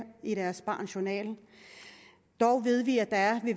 i deres barns journal dog ved vi at der er